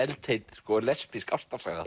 eru eldheit lesbísk ástarsaga